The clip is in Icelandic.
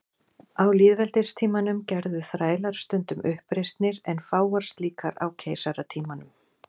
Á lýðveldistímanum gerðu þrælar stundum uppreisnir en fáar slíkar á keisaratímanum.